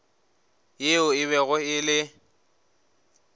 yeo e bego e le